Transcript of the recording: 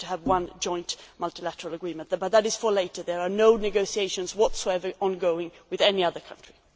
But that is for later, there are no negotiations whatsoever ongoing with any other country.